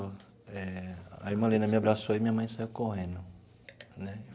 Eh a irmã Lina me abraçou e minha mãe saiu correndo.